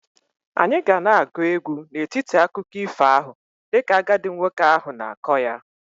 Anyị ga na-agụ egwu n'etiti akụkọ ifo ahụ dịka agadi nwoke ahụ na-akọ ya.